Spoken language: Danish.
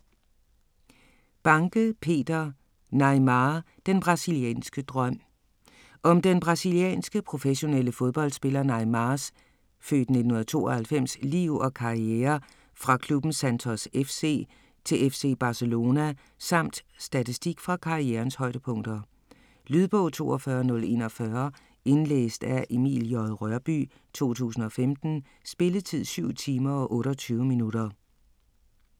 Banke, Peter: Neymar - den brasilianske drøm Om den brasilianske, professionelle fodboldspiller Neymars (f. 1992) liv og karriere fra klubben Santos FC til FC Barcelona, samt statistik fra karrierens højdepunkter. Lydbog 42041 Indlæst af Emil J. Rørbye, 2015. Spilletid: 7 timer, 28 minutter.